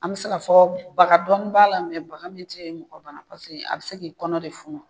An be se ka fɔ bagan dɔɔni b'a la baga min tɛ mɔgɔ .Paseke a be se k'i kɔnɔ de funu.